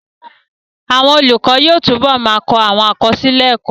Àwọn olùkọ́ yóò túbọ̀ ma kọ àkọsílẹ̀ ẹ́kọ́